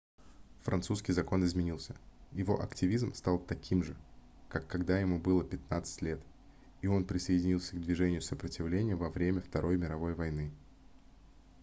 французский закон изменился его активизм стал таким же как когда ему было 15 лет и он присоединился к движению сопротивления во время второй мировой войны